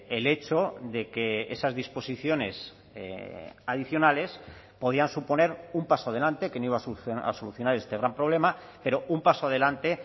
el hecho de que esas disposiciones adicionales podían suponer un paso adelante que no iba a solucionar este gran problema pero un paso adelante